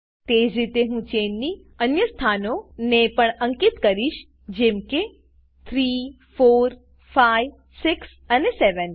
તેજ રીતે હું ચેન ની અન્ય સ્થાનઓ ને પણ અંકિત કરીશ જેમ કે 3 4 5 6 અને 7